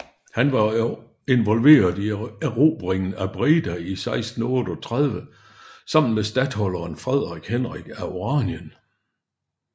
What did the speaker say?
Han var involveret i erobringen af Breda i 1638 sammen med statholderen Frederik Henrik af Oranien